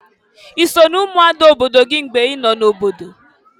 I so na-umuada obodo gị mgbe ị nọ n'obodo?